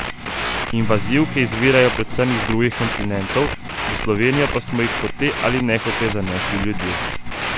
Invazivke izvirajo predvsem z drugih kontinentov, v Slovenijo pa smo jih hote ali nehote zanesli ljudje.